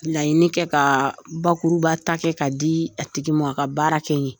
Laɲinini kɛ ka bakuruba ta kɛ ka di a tigi ma a ka baara kɛ n ye